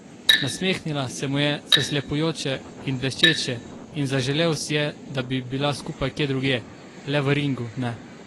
Nasmehnila se mu je, zaslepljujoče in bleščeče, in zaželel si je, da bi bila skupaj kje drugje, le v ringu ne.